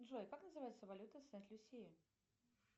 джой как называется валюта сент люсии